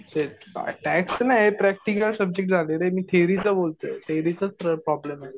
तेच टॅक्स नाही. Practical subject झाले रे. मी थेरीचं बोलतोय. थेरीचंच प्रॉब्लेम आहे.